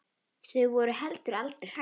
Þau voru heldur aldrei hrædd.